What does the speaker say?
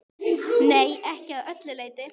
Nei, ekki að öllu leyti.